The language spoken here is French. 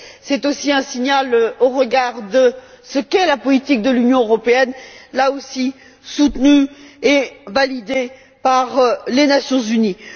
C'est aussi un signal au regard de ce qu'est la politique de l'Union européenne, là aussi soutenue et validée par les Nations unies.